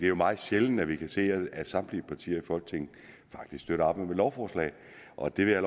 jo meget sjældent at vi kan se at samtlige partier i folketinget støtter op om et lovforslag og det vil jeg